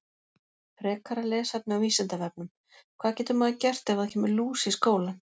Frekara lesefni á Vísindavefnum: Hvað getur maður gert ef það kemur lús í skólann?